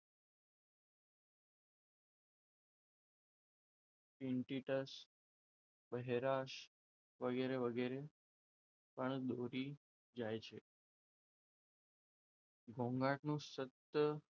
બહેરાશ વગેરે વગેરે પણ દોરી જાય છે ઘોંઘાટનો સતત,